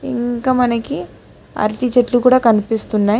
ఇంక మనకి అరటి చెట్లు కూడా కనిపిస్తున్నాయి.